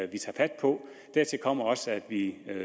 vi tager fat på dertil kommer også at vi